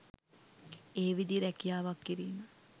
ඒ විදියේ රැකියාවක් කිරීම